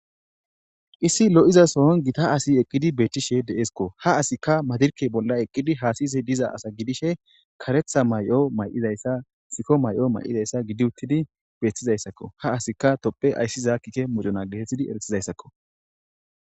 Issi lo7iza soon gita asi eqqidi beethtishe deeskko ha asikka madirke bolla eqqidi haasiyze diza asa gidishe karetha may7o may7izayssa sikko may7o may7izayssa gidi uttidi beeththizayssakko ha asika topphe ayssi zaakkike moduna geetetthidi eretizayssakko.